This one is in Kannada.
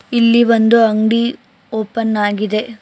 ಇಲ್ಲಿ ಒಂದು ಅಂಗಡಿ ಓಪನ್ ಆಗಿದೆ.